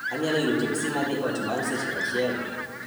Anyalo yudo teksi madhi ot bang' seche achiel